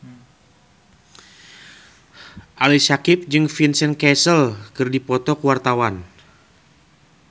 Ali Syakieb jeung Vincent Cassel keur dipoto ku wartawan